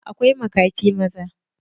Akwai makafi maza.